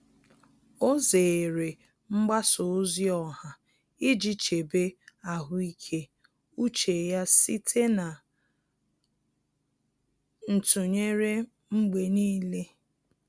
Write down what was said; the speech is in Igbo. Ọ́ zèrè mgbasa ozi ọha iji chèbé ahụ́ị́ké úchè ya site na ntụnyere mgbe nìile.